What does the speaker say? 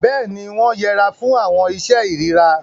Béèni, wọn yẹra fún awọn iṣe irira